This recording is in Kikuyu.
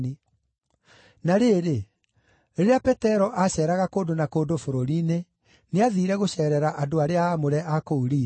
Na rĩrĩ, rĩrĩa Petero aaceeraga kũndũ na kũndũ bũrũri-inĩ, nĩathiire gũceerera andũ arĩa aamũre a kũu Lida.